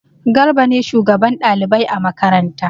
Garba ne shugaban ɗalibai a makaranta.